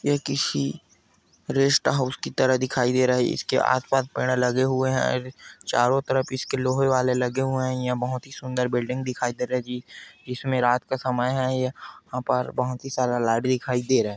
यह किसी rest house की तरह दिखाई दे रहा हैंइसके आस पास बड़ा लगे हुए हैं और चारों तरफ इसके लगे हुये हैंयह बहुत सुंदर बिल्डिंग दिखाई देता हैं जी जिसमे रात का समय हैं यहाँ पर बहुत सारे लाइटे दिखाई दे रहा हैं।